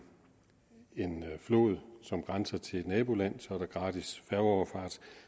flod som grænser op til et naboland er der gratis færgeoverfart